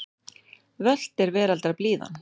Völt er veraldar blíðan.